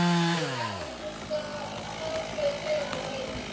Í kápunni sem fór svo í taugarnar á Heiðu.